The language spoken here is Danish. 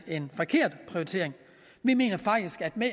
en forkert prioritering vi mener faktisk at med